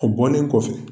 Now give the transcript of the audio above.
O bɔlen kɔfɛ